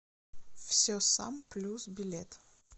все сам плюс билет